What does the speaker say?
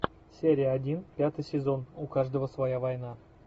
серия один пятый сезон у каждого своя война